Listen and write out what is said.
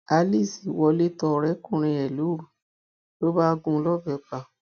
alice wọlé tọ ọrẹkùnrin ẹ lóru ló bá gún un lọbẹ pa